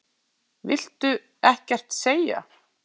Viltu ekkert segja?